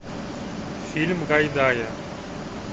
фильм гайдая